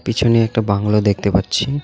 পিছনে একটা বাংলো দেখতে পাচ্ছি.